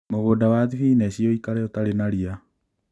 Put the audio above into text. Mũgũnda wa thibinachi ũikare ũtarĩ na ria